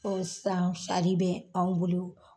Kɔn sisan sari bɛ anw bolo.